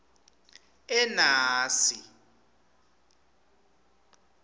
enasi